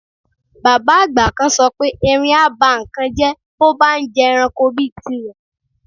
Bàbá àgbà kan so̩ pé erin á bá nǹkan jé̩ bó bá ń je̩ranko bíi tirè̩